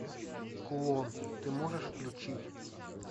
кулон ты можешь включить